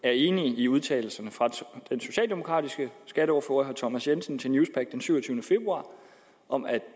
er enig i udtalelserne fra den socialdemokratiske skatteordfører herre thomas jensen til newspaq den syvogtyvende februar om at